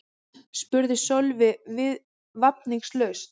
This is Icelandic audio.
spurði Sölvi vafningalaust.